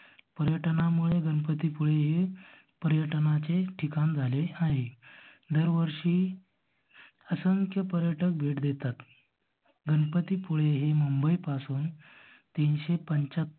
पर्यटनामुळे गणपतीपुळे हे पर्यटनाचे ठिकाण झाले आहे. दर वर्षी असंख्य पर्यटक भेट देतात. गणपती पुळे हे मुंबई पासून तीनशे पंचाहत्तर